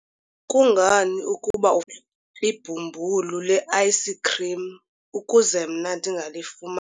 kungani ukuba ibhumbulu le-ayisikhrim ukuze mna ndingalifuma?